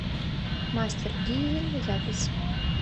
мастер дизель запись